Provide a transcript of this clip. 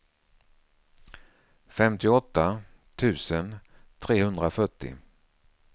femtioåtta tusen trehundrafyrtio